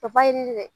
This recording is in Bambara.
Ka ba yeli dɛ